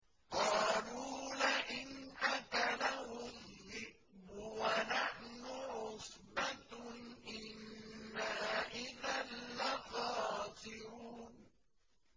قَالُوا لَئِنْ أَكَلَهُ الذِّئْبُ وَنَحْنُ عُصْبَةٌ إِنَّا إِذًا لَّخَاسِرُونَ